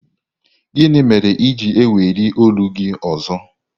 Gịnị mere i ji na-eweli olu gị ọzọ?